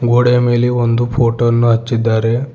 ಗೋಡೆಯ ಮೇಲೆ ಒಂದು ಫೋಟೋ ಅನ್ನು ಹಚ್ಚಿದ್ದಾರೆ.